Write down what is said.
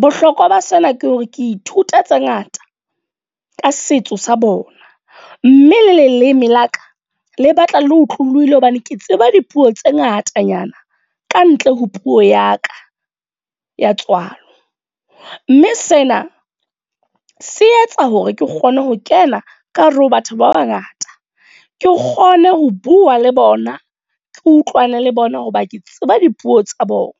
Bohlokwa ba sena ke hore ke ithuta tse ngata ka setso sa bona. Mme le leleme la ka, le batla le otlolohile hobane ke tseba dipuo tse ngatanyana ka ntle ho puo ya ka ya tswalo. Mme sena se etsa hore ke kgone ho kena ka hare ho batho ba bangata. Ke kgone ho bua le bona, ke utlwane le bona hoba ke tseba dipuo tsa bona.